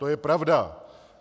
To je pravda.